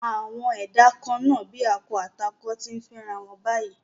Àwọn ẹ̀dá kan-án-nà bíi akọ àti akọ ti ń fẹ́rawọn báyìí